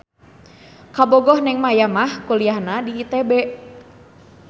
Kabogoh Neng Maya mah kuliahna di ITB